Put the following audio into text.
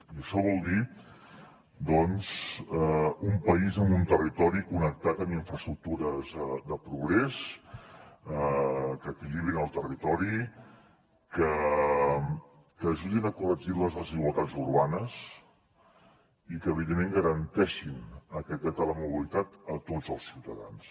i això vol dir doncs un país amb un territori connectat amb infraestructures de progrés que equilibrin el territori que ajudin a corregir les desigualtats urbanes i que evidentment garanteixin aquest dret a la mobilitat a tots els ciutadans